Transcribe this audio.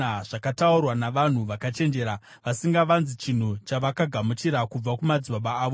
zvakataurwa navanhu vakachenjera, vasingavanzi chinhu chavakagamuchira kubva kumadzibaba avo,